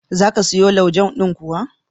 Za ka siyo laujen kuwa?